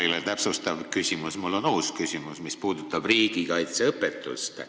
Mul ei ole täpsustav küsimus, mul on uus küsimus, mis puudutab riigikaitseõpetust.